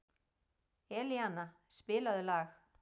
Elíana, spilaðu lag.